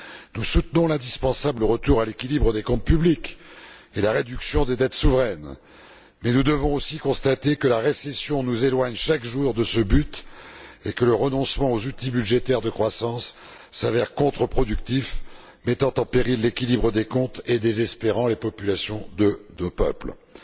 Nous soutenons l'indispensable retour à l'équilibre des comptes publics et la réduction des dettes souveraines, mais nous devons aussi constater que la récession nous éloigne chaque jour de ce but et que le renoncement aux outils budgétaires de croissance s'avère contreproductif, mettant en péril l'équilibre des comptes et désespérant les peuples d'Europe.